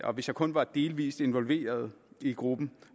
og hvis jeg kun var delvis involveret i gruppen